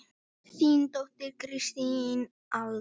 Þín dóttir Kristín Alda.